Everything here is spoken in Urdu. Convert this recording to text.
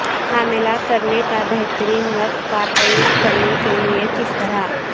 حاملہ کرنے کا بہترین وقت کا تعین کرنے کے لئے کس طرح